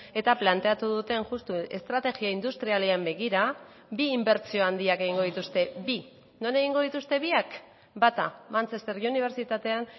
eta planteatu duten justu estrategia industrialean begira bi inbertsio handiak egingo dituzte bi non egingo dituzte biak bata manchester unibertsitatean